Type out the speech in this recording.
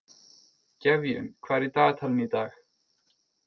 Gefjun, hvað er í dagatalinu í dag?